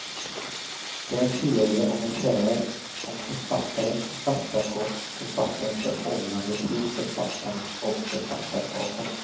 Det är en serie essäer om författare, författarskap och författarens förhållande till författarna och författarskapen.